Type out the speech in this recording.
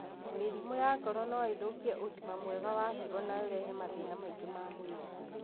Mĩrimũ ya ngoro no ĩthũkie ũgima mwega wa higo na ũrehe mathĩna mangĩ ma mwĩrĩ.